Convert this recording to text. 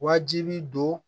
Wajibi don